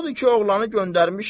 Odur ki, oğlanı göndərmişəm.